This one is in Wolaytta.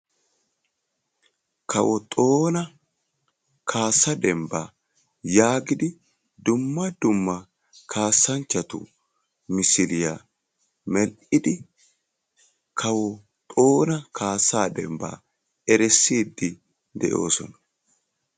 kawo xoona dembba giya xuuphiya xaaphidi yelaga naati toho kuwassiya issi aaho kaassa dembani kaa"idi beetosona.